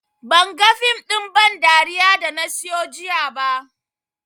Banga fim ɗin ban dariya da na siyo jiya ba